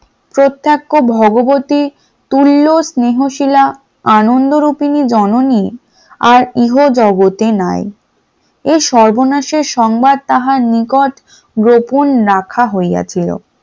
প্রত্যক্ষ ভগবতি তুল্য স্নেহশীলা আনন্দরূপিনি জননী আর ইহ জগতে নাই এই সর্বনাশের সংবাদ তাহার নিকট গোপন রাখা হইয়াছিল ।